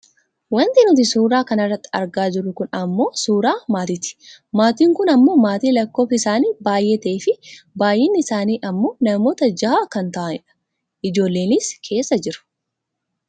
Wanti nuti suuraa kana irratti argaa jirru kun ammoo suuraa maatiiti. Maatiin kun ammoo maatii lakkoofsi isaanii baayyee ta'eefi baayyinni isaanii ammoo namoota jaha kan ta'ani dha. Ijoollenis keessa jiru.